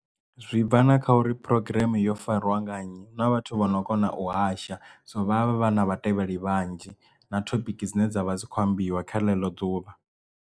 Zwi bva na kha uri phurogireme yo fariwa nga nnyi hu na vhathu vhano kona u hasha so vhavha vha na vhatevheli vhanzhi na thophiki dzine dzavha dzi kho ambiwa kha ḽeḽo ḓuvha.